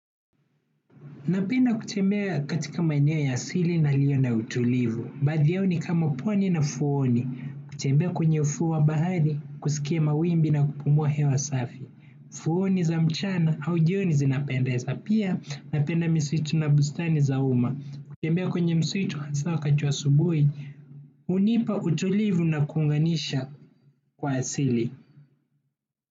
Napenda kutembea katika maeneo ya asili na yaliyo na utulivu. Baadhi yao ni kama pwani na fuoni. Kutembea kwenye ufuo wa bahari, kusikia mawimbi na kupumua hewa safi. Fuoni za mchana au jioni zinapendeza. Pia napenda misitu na bustani za umma. Kutembea kwenye msitu hasa wakati wa asubuhi. Hunipa utulivu na kuunganisha kwa asili.